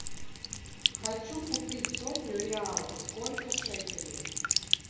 хочу купить сотню реалов сколько шекелей